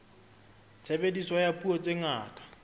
tshebediso ya dipuo tse ngata